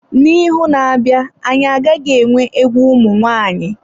Na ihu na-abịa anyị agaghị enwe egwu ụmụ nwaanyị.